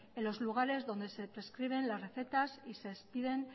en los lugares donde se prescriben las recetas y se prescriben